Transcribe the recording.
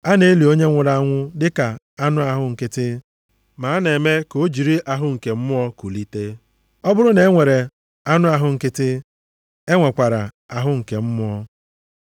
A na-eli onye nwụrụ anwụ dịka anụ ahụ nkịtị, ma a na-eme ka o jiri ahụ nke mmụọ kulite. Ọ bụrụ na e nwere anụ ahụ nkịtị, e nwekwara ahụ nke mmụọ.